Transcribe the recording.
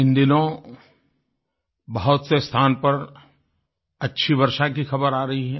इन दिनों बहुत से स्थान पर अच्छी वर्षा की ख़बरें आ रही हैं